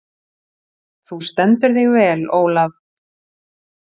Þú stendur þig vel, Olav!